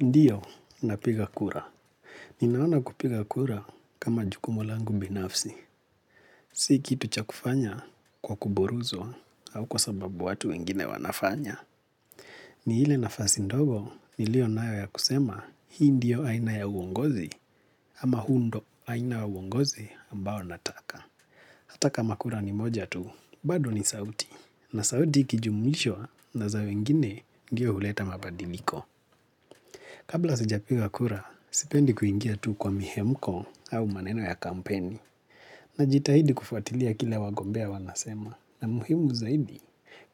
Ndiyo napiga kura. Ninaona kupiga kura kama jukumu langu binafsi. Si kitu cha kufanya kwa kuburuzwa au kwa sababu watu wengine wanafanya. Ni hile nafasi ndogo ni liyo nayo ya kusema hii ndiyo aina ya uongozi ama huu ndo aina wa uongozi ambao nataka. Atakama kura ni moja tuu, bado ni sauti. Na sauti ikijumulishwa naza wengine ndio huleta mabadiliko. Kabla sijapiga kura, sipendi kuingia tu kwa mihemko au maneno ya kampeni. Najitahidi kufwatilia kile wagombea wanasema na muhimu zaidi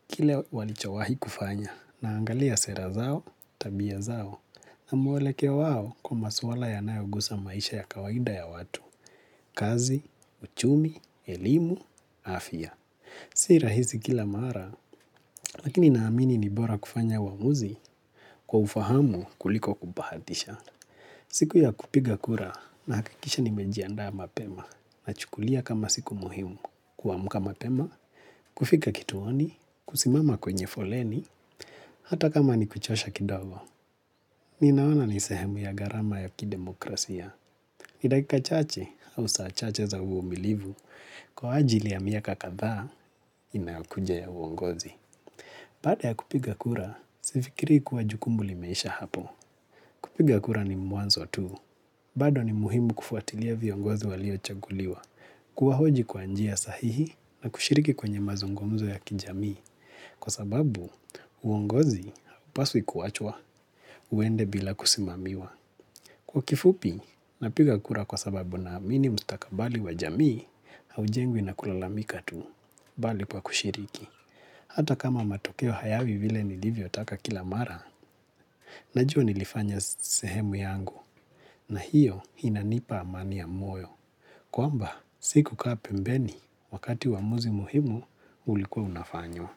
kile walichowahi kufanya naangalia sera zao, tabia zao na mwelekeo wao kwa maswala ya nayogusa maisha ya kawaida ya watu, kazi, uchumi, elimu, afya. Si rahisi kila mara, lakini namini nibora kufanya wamuzi kwa ufahamu kuliko kubahatisha. Siku ya kupiga kura, na hakikisha ni mejianda mapema, na chukulia kama siku muhimu, kuamka mapema, kufika kituoni, kusimama kwenye foleni, hata kama ni kuchosha kidogo. Ninaona nisehemu ya gharama ya kidemokrasia, ni dakika chache, au saa chache za umilivu, kwa ajili ya miaka kadha, inayokuja ya uongozi. Baada ya kupiga kura, sifikiri kuwa jukumu limesha hapo. Kupiga kura ni mwanzo tu. Bado ni muhimu kufuatilia viongozi walio chaguliwa. Kuwa hoji kwa njia sahihi na kushiriki kwenye mazungumzo ya kijamii. Kwa sababu, uongozi haupaswi kuachwa, uende bila kusimamiwa. Kwa kifupi, napiga kura kwa sababu na amini mstakabali wa jami, au jengwi na kulalamika tu, bali kwa kushiriki. Hata kama matokeo hayawi vile nilivyo taka kila mara, najua nilifanya sehemu yangu na hiyo inanipa amani moyo. Kwamba, sikukaa pembeni wakati wamuzi muhimu ulikuwa unafanywa.